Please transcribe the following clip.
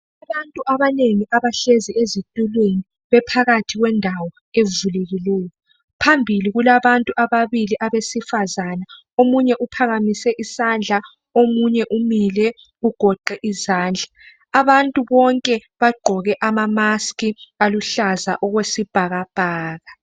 Abantu abanengi abahlezi ezitulweni bephakathi kwendawo evulekileyo. Phambili kulabantu ababili abesifazana omunye uphakemise isandla omunye umile ugoqe izandla, abantu bonke bagqoke amamaski aluhlaza okwesibhakabhaka.